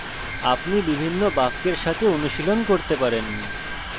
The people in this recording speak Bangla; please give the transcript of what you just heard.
আপনি বিভিন্ন বাক্যের সাথে অনুশীলন করতে পারেন